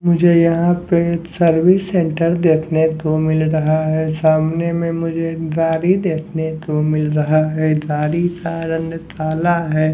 मुझे यहाँ पे सर्विस सेंटर देखने को मिल रहा है सामने में मुझे गारी देखने को मिल रहा है दारी सा रंग ताला है।